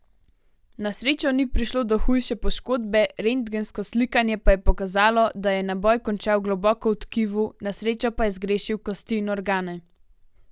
Na srečo ni prišlo do hujše poškodbe, rentgensko slikanje pa je pokazalo, da je naboj končal globoko v tkivu, na srečo pa je zgrešil kosti in organe.